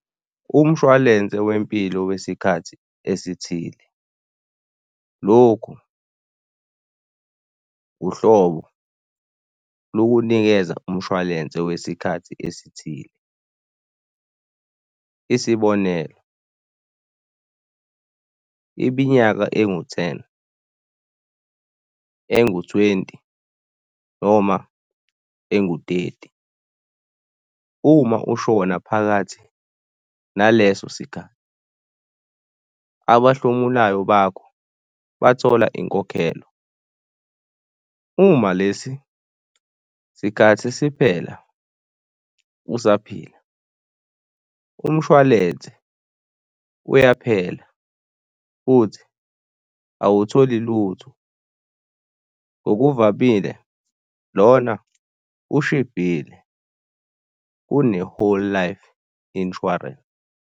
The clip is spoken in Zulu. Umshwalense wempilo wesikhathi esithile, lokhu uhlobo lukunikeza umshwalense wesikhathi esithile. Isibonelo iminyaka engu-ten, engu-twenty noma engu-thirty. Uma ushona phakathi naleso sikhathi, abahlomulayo bakho bathola inkokhelo. Uma lesi sikhathi siphela usaphila, umshwalense uyaphela futhi awutholi lutho. Ngokuvamile lona ushibhile kune-whole life insurance.